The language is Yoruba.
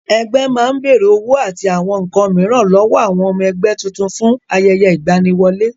Ẹgbẹ́ máa ń bèrè owó àti àwọn nǹkan mìíràn lọ́wọ́ àwọn ọmọ ẹgbẹ́ tuntun fún ayẹyẹ ìgbaniwọlé.